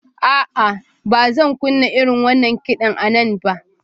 A'a, ba zan kunna irin wannan kiɗan a nan ba.